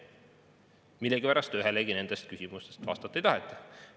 Millegipärast ühelegi nendest küsimustest vastata ei taheta.